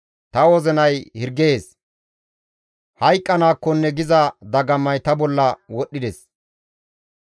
Ta wozinay hirgees; hayqqanaakkonne giza dagamay ta bolla wodhdhides.